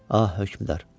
Ah, hökmdar.